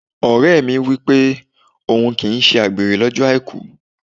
Ọ̀rẹ́ mi wípé òhun kì í ṣe àgbèrè lọ́jọ́ Àìkú.